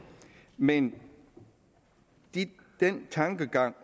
men den tankegang